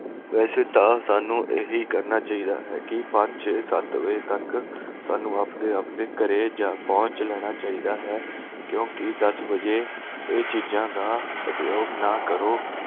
ਵੈਸੇ ਤਾਂ ਸਾਂਨੂੰ ਇਹੀ ਕਰਨਾ ਚਾਹੀਦਾ ਹੈ ਕਿ ਪੰਜ ਛੇ ਸੱਤ ਵਜੇ ਤਕ ਆਪਣੇ ਆਪਣੇ ਘਰੇ ਜਾ ਪਹੁੰਚ ਲੈਣਾ ਚਾਹੀਦਾ ਹੈ ਕਿਉਕਿ ਦੱਸ ਵਜੇ ਇਹ ਚੀਜਾਂ ਦਾ ਉਪਯੋਗ ਨਾ ਕਰੋ